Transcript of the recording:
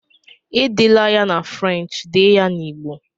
Edela ya na French, dee na Igbo!